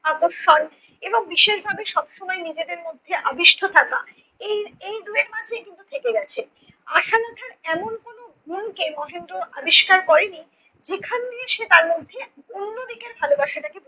আকর্ষণ এবং বিশেষভাবে সবসময় নিজেদের মধ্যে অবিষ্ঠ থাকা এই এই দুয়ের মাঝেই কিন্তু থেক গেছে। আশালতার এমন কোনো গুণকে মহেন্দ্র আবিষ্কার করে নি যেখান দিয়ে সে তার মধ্যে অন্যদিকের ভালোবাসাটাকে